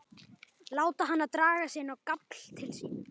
Láta hana draga sig inn á gafl til sín.